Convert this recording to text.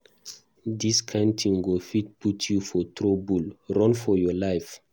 Dis kin thing go fit put you for trouble. Run for your life